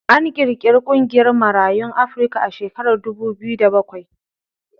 An ƙirƙiri ƙungiyar Marayun Afrika a shekarar dubu biyu da bakwai.